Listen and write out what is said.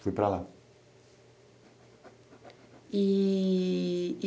Fui para lá.